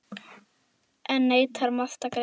Enn neitar Mast að greiða.